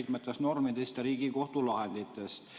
mitmetest normidest ja Riigikohtu lahenditest.